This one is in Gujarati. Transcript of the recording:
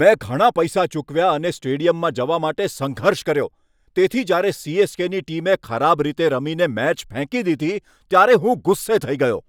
મેં ઘણા પૈસા ચૂકવ્યા અને સ્ટેડિયમમાં જવા માટે સંઘર્ષ કર્યો, તેથી જ્યારે સી.એસ.કે.ની ટીમે ખરાબ રીતે રમીને મેચ ફેંકી દીધી ત્યારે હું ગુસ્સે થઈ ગયો.